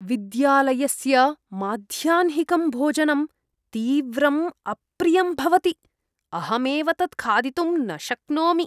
विद्यालयस्य माध्याह्निकं भोजनं तीव्रम् अप्रियं भवति, अहमेव तत् खादितुं न शक्नोमि।